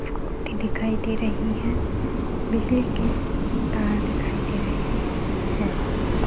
scooty दिखाई दे रही हैं बिजली के तार दिखाई दे रहे हैं है --